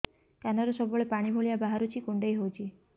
କାନରୁ ସବୁବେଳେ ପାଣି ଭଳିଆ ବାହାରୁଚି କୁଣ୍ଡେଇ ହଉଚି